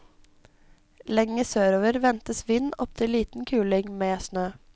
Lenger sørover ventes vind opptil liten kuling, med snø.